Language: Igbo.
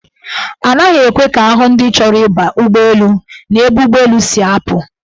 Anaghị ekwe ka ahụ ndị chọrọ ịba ụgbọelu n'ebe ụgbọelu si apụ.